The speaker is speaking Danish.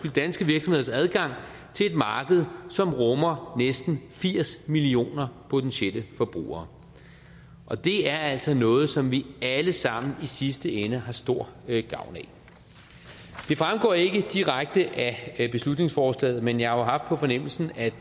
danske virksomheders adgang til et marked som rummer næsten firs millioner potentielle forbrugere det er altså noget som vi alle sammen i sidste ende har stor gavn af det fremgår ikke direkte af beslutningsforslaget men jeg har haft på fornemmelsen at